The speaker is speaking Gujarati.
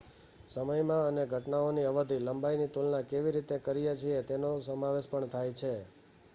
સમયમાં અમે ઘટનાઓની અવધિ લંબાઈની તુલના કેવી રીતે કરીએ છીએ તેનો સમાવેશ પણ થાય છે